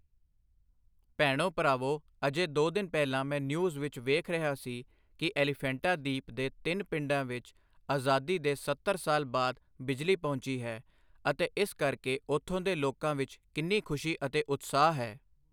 ਭੈਣੋ ਭਰਾਵੋ ਅਜੇ ਦੋ ਦਿਨ ਪਹਿਲਾਂ ਮੈਂ ਨਿਊਜ਼ ਵਿੱਚ ਵੇਖ ਰਿਹਾ ਸੀ ਕਿ ਐਲੀਫੈਂਟਾ ਦੀਪ ਦੇ ਤਿੰਨ ਪਿੰਡਾਂ ਵਿੱਚ ਆਜ਼ਾਦੀ ਦੇ ਸੱਤਰ ਸਾਲ ਬਾਅਦ ਬਿਜਲੀ ਪਹੁੰਚੀ ਹੈ ਅਤੇ ਇਸ ਕਰਕੇ ਉੱਥੋਂ ਦੇ ਲੋਕਾਂ ਵਿੱਚ ਕਿੰਨੀ ਖੁਸ਼ੀ ਅਤੇ ਉਤਸ਼ਾਹ ਹੈ।